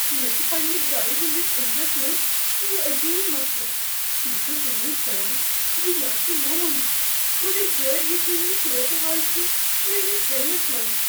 مےٚ چھ پننہ گاڑ ہندس انجنس منز یہ عجیب مسلہٕ۔ بہٕ چھس امید کران ز یہ آسہ معمولی، مگر غیر یقینی صورتحال چھ میٲنس ذہنس منٛز۔